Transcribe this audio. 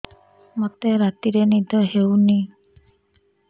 ମୋତେ ରାତିରେ ନିଦ ହେଉନି